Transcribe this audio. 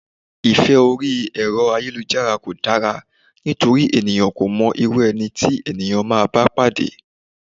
Ìfẹ́ orí Ẹ̀rọ ayélujára kò dára nítorí ènìyàn kò mọ irú ẹni tí ènìyàn máa bá pàdé.